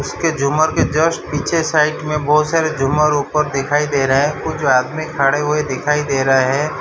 इसके झूमर के जस्ट पीछे साइड में बहुत सारे झूमर उपर दिखाई दे रहा है ओ जो आदमी खड़े हुए दिखाई दे रहे है।